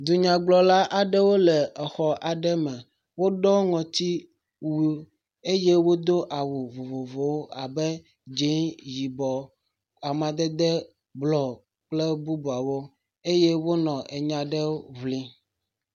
Dunyagblɔla aɖewo le exɔ aɖe me. Woɖɔ ŋɔtiwu eye awu vovovovowo abe dze, yibɔ, amadede blɔ kple bubuawo eye wonɔ nya aɖe ŋlim.